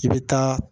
I bɛ taa